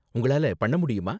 உங்களால பண்ண முடியுமா?